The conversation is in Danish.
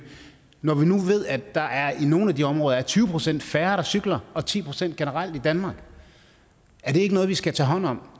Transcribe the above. når vi nu ved at der i nogle af de områder er tyve procent færre der cykler og ti procent færre generelt i danmark er det ikke noget vi skal tage hånd om